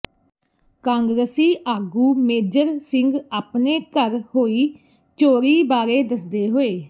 ਕਾਂਗਰਸੀ ਆਗੂ ਮੇਜਰ ਸਿੰਘ ਆਪਣੇ ਘਰ ਹੋਈ ਚੋਰੀ ਬਾਰੇ ਦੱਸਦੇ ਹੋਏ